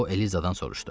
O Elizadan soruşdu.